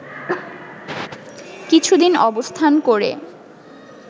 কিছুদিন অবস্থান করে